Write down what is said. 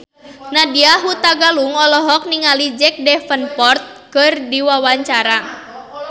Nadya Hutagalung olohok ningali Jack Davenport keur diwawancara